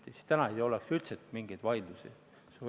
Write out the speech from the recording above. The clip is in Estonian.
Sel juhul täna ei oleks üldse mingeid vaidlusi.